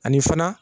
Ani fana